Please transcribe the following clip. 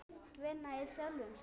Vinna í sjálfum sér.